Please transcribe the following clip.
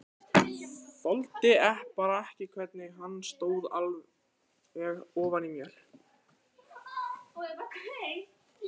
Þoldi bara ekki hvernig hann stóð alveg ofan í mér.